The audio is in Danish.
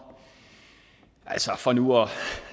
altså for nu at